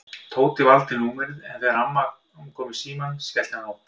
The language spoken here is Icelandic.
Tóti valdi númerið en þegar amman kom í símann skellti hann á.